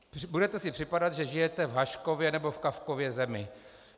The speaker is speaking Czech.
Budete si připadat, že žijete v Haškově nebo v Kafkově zemi.